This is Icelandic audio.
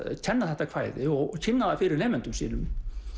kenna þetta kvæði og kynna það fyrir nemendum sínum